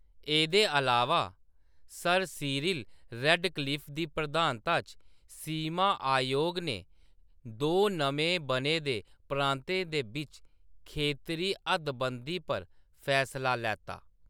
एह्‌‌‌दे अलावा, sir Cyril Radcliffe दी प्रधानता च सीमा आयोग ने दो नमें बने दे प्रांतें दे बिच्च खेतरी हद्दबंदी पर फैसला लैता।